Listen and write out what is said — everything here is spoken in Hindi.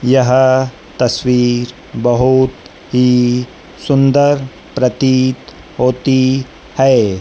यह तस्वीर बहोत ही सुंदर प्रतीत होती है।